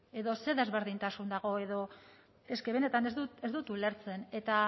edo zer desberdintasuna dago eske benetan ez dut ulertzen eta